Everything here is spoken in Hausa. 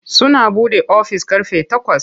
Suna buɗe ofis ƙarfe takwas.